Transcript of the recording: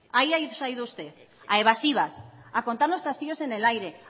ahí ahí se ha ido usted a evasivas a contarnos castillos en el aire